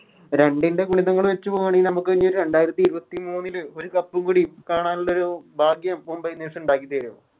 രണ്ടിൻറ്റെ ഗുണിതങ്ങള് വെച്ച് പോവാണേല് നമുക്ക് ലൊരു രണ്ടാരത്തി ഇരുപത്തി മൂന്നില് ഒരു Cup ഉം കൂടി കാണാനുള്ളൊരു ഭാഗ്യം Mumbai indians ഇണ്ടാക്കി തരും